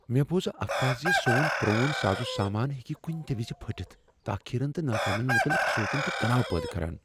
مےٚ بوز افواہہ زِ سون پرون سازٕ سامان ہیکہِ کُنہِ تہِ وِزِ پھُٹِتھ۔ تاخیرن تہٕ ناکامین متعلق سونچُن چھُ تناو پٲدٕ كران ۔